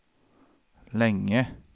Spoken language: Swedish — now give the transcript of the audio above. länge